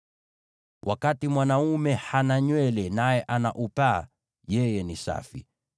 “Wakati mwanaume hana nywele naye ana upaa, yeye ni safi.